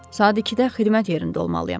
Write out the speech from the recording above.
Saat 2-də xidmət yerində olmalıyam.